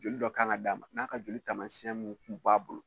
Joli dɔ kan ka d'a ma , n'a ka joli taasiɲɛn mun kun b'a bolo.